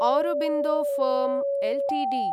Aurobindo firm Ltd